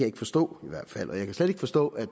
ikke forstå i hvert fald jeg kan slet ikke forstå at